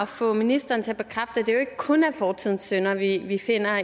få ministeren til at bekræfte at det jo ikke kun er fortidens synder vi vi finder